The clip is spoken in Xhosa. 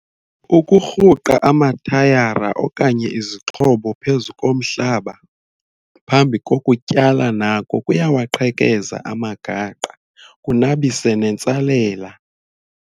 Ukurhuqa amatayara okanye izixhobo phezu komhlaba phambi kokutyala nako kuyawaqhekeza amagaqa kunabise nentsalela.